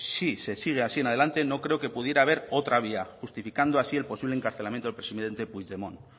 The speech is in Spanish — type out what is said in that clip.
si se sigue así en adelante no creo que pudiera haber otra vía justificando así el posible encarcelamiento del presidente puigdemont